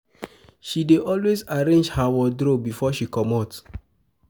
She dey always arrange her wardrope before she comot.